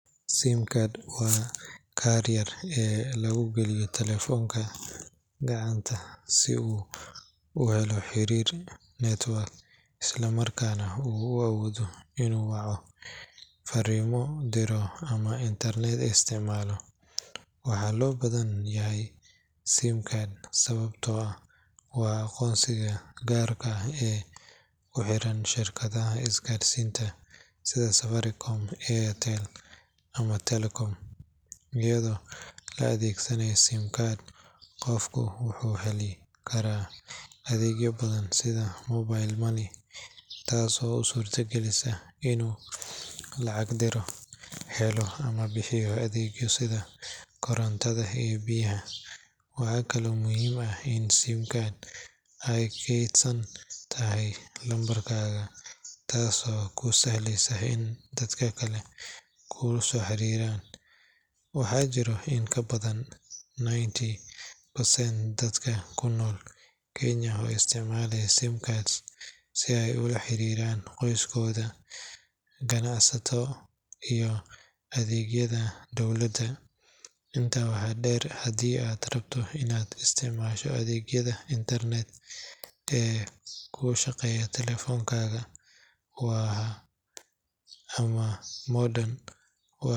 Sim card waa kaarka yar ee lagu geliyo taleefoonka gacanta si uu u helo xiriir network isla markaana uu u awoodo inuu waco, fariimo diro, ama internet isticmaalo. Waxaa loo baahan yahay sim card sababtoo ah waa aqoonsigaaga gaarka ah ee ku xiran shirkadda isgaarsiinta sida Safaricom, Airtel ama Telkom. Iyadoo la adeegsanayo sim card, qofku wuxuu heli karaa adeegyo badan sida mobile money, taasoo u suuragelisa inuu lacag diro, helo ama bixiyo adeegyo sida korontada iyo biyaha. Waxaa kale oo muhiim ah in sim card ay kaydsan tahay lambarkaaga, taasoo kuu sahleysa in dadka kale ku soo xiriiraan. Waxaa jira in ka badan ninety percent dadka ku nool Kenya oo isticmaalaya sim cards si ay ula xiriiraan qoysaskooda, ganacsato iyo adeegyada dowladda. Intaa waxaa dheer, haddii aad rabto inaad isticmaasho adeegyada internet ee ku shaqeeya taleefoonkaaga ama modem.